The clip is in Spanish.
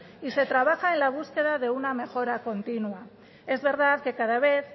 y se trabaja en la búsqueda de una mejora continua es verdad que cada vez